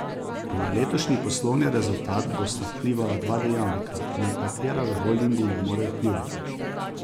Na letošnji poslovni rezultat bosta vplivala dva dejavnika, na katera v holdingu ne morejo vplivati.